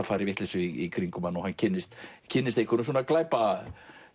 fara í vitleysu í kringum hann og hann kynnist kynnist einhverjum